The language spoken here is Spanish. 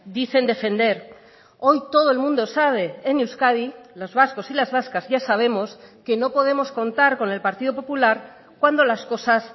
dicen defender hoy todo el mundo sabe en euskadi los vascos y las vascas ya sabemos que no podemos contar con el partido popular cuando las cosas